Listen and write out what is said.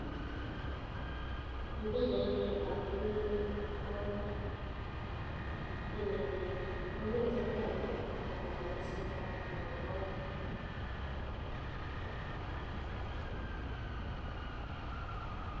Eng pichait nii akeree moita nee kityemee kinyaii koo kiit nee tesetaii koo kanyaiset ab moita